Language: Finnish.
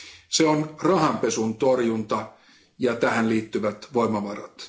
Se on rahanpesun torjunta ja tähän liittyvät voimavarat.